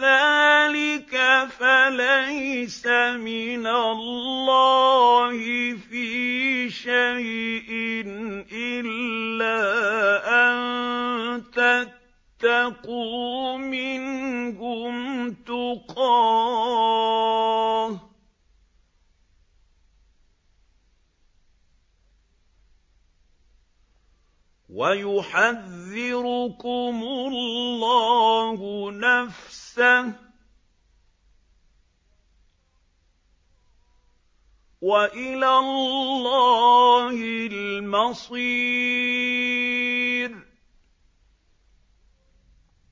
ذَٰلِكَ فَلَيْسَ مِنَ اللَّهِ فِي شَيْءٍ إِلَّا أَن تَتَّقُوا مِنْهُمْ تُقَاةً ۗ وَيُحَذِّرُكُمُ اللَّهُ نَفْسَهُ ۗ وَإِلَى اللَّهِ الْمَصِيرُ